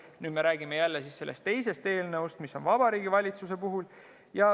Nüüd me räägime jälle sellest teisest eelnõust, mis on Vabariigi Valitsuse koostatud.